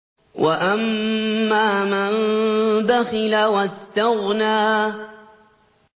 وَأَمَّا مَن بَخِلَ وَاسْتَغْنَىٰ